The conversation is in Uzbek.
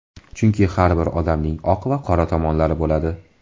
Chunki har bir odamning oq va qora tomonlari bo‘ladi.